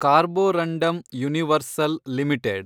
Carborundum Universal limited